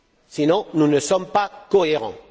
Sinon, nous ne sommes pas cohérents.